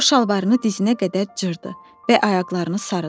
O şalvarını dizinə qədər cırdı və ayaqlarını sarıdı.